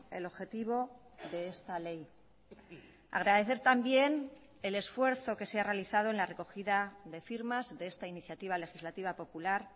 el objetivo de esta ley agradecer también el esfuerzo que se ha realizado en la recogida de firmas de esta iniciativa legislativa popular